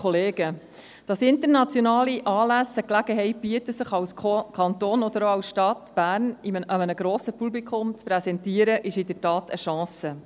Dass internationale Anlässe eine Gelegenheit bieten, sich als Kanton oder auch als Stadt Bern einem grossen Publikum zu präsentieren, ist in der Tat eine Chance.